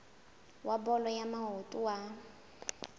wa bolo ya maoto wa